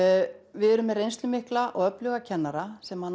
við erum með reynslumikla og öfluga kennara sem